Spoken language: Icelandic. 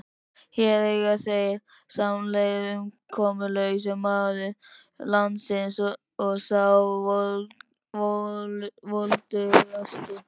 Hér eiga þeir samleið, umkomulausasti maður landsins og sá voldugasti.